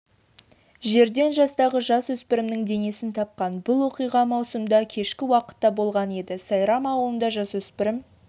жерден жастағы жасөспірімнің денесін тапқан бұл оқиға маусымда кешкі уақытта болған еді сайрам ауылында жасөспірім